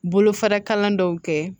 Bolofara kalan dɔw kɛ